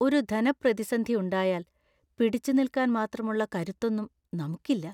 ഒരു ധനപ്രതിസന്ധി ഉണ്ടായാൽ പിടിച്ചുനിൽക്കാൻ മാത്രമുള്ള കരുത്തൊന്നും നമുക്കില്ല.